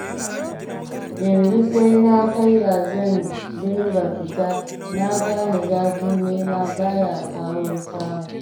Yanzu sai na karya zan dinga fita, na gane zafin nema ba ya kawo samu.